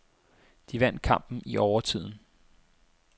De vandt kampen i overtiden.